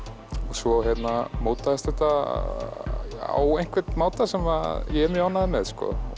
svo mótaðist þetta á einhvern máta sem ég er mjög ánægður með